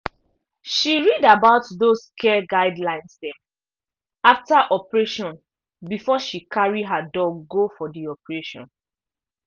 she read about those care guidelines dem after operation before she carry her dog go for d operation